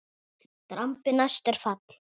Drambi næst er fall.